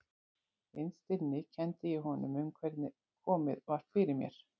Innst inni kenndi ég honum um hvernig komið var fyrir mér.